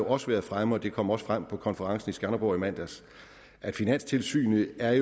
også været fremme det kom også frem på konferencen i skanderborg i mandags at finanstilsynet er